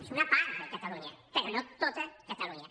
és una part de catalunya però no tot catalunya